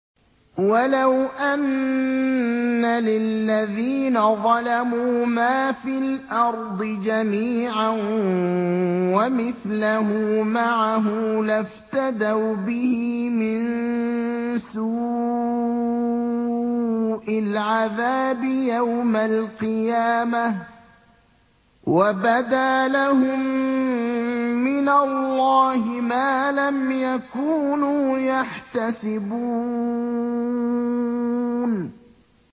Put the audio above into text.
وَلَوْ أَنَّ لِلَّذِينَ ظَلَمُوا مَا فِي الْأَرْضِ جَمِيعًا وَمِثْلَهُ مَعَهُ لَافْتَدَوْا بِهِ مِن سُوءِ الْعَذَابِ يَوْمَ الْقِيَامَةِ ۚ وَبَدَا لَهُم مِّنَ اللَّهِ مَا لَمْ يَكُونُوا يَحْتَسِبُونَ